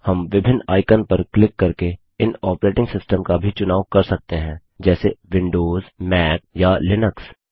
हम विभिन्न आइकन पर क्लिक करके इन ऑपरेटिंग सिस्टम का भी चुनाव कर सकते हैं जैसे160 विंडोज मैक या लिनक्स